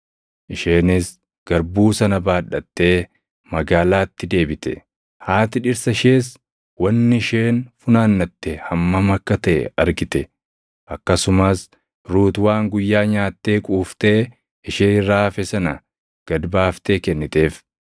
Isheenis garbuu sana baadhattee magaalaatti deebite; haati dhirsa ishees wanni isheen funaannatte hammam akka taʼe argite. Akkasumas Ruut waan guyyaa nyaattee quuftee ishee irraa hafe sana gad baaftee kenniteef.